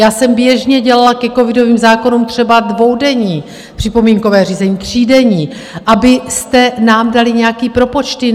Já jsem běžně dělala ke covidovým zákonům třeba dvoudenní připomínkové řízení, třídenní, abyste nám dali nějaké propočty.